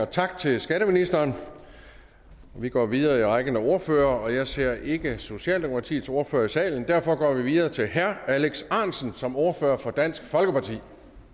tak til skatteministeren vi går videre i rækken af ordførere jeg ser ikke socialdemokratiets ordfører i salen og derfor går vi videre til herre alex ahrendtsen som ordfører for dansk folkeparti